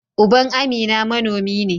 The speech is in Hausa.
Uban Amina manomi ne.